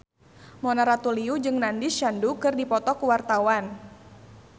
Mona Ratuliu jeung Nandish Sandhu keur dipoto ku wartawan